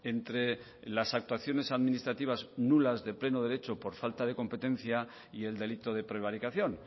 entre las actuaciones administrativas nulas de pleno derecho por falta de competencia y el delito de prevaricación